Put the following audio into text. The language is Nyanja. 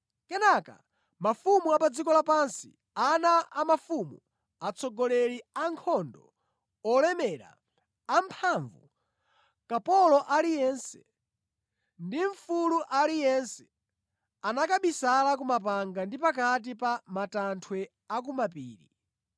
Kenaka, mafumu a pa dziko lapansi, ana a mafumu, atsogoleri a ankhondo, olemera, amphamvu, kapolo aliyense, ndi mfulu aliyense anakabisala kumapanga ndi pakati pa matanthwe a ku mapiri.